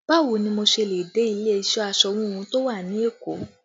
Báwo ni mo ṣe le dé ilé iṣẹ́ aṣọ híhun tó wà ní Èkó?